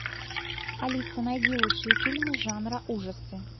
алиса найди лучшие фильмы жанра ужасы